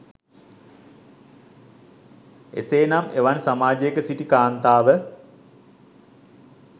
එසේ නම් එවන් සමාජයක සිටි කාන්තාව